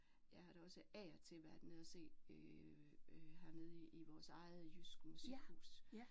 Jeg har da også af og til været nede og se øh hernede i vores eget jysk musikhus